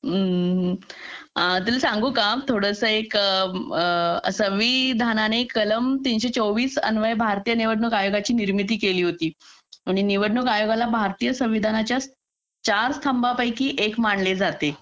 हा हा तुला सांगू का एक थोडसं विधानाने कलम तीनशे चोवीस अन्वये भारताच्या निवडणुक आयोगाची निर्मिती केली होती म्हणजे निवडणूक आयोगाला भारतीय संविधानाच्या चार स्तंभा पैकी एक मानले जाते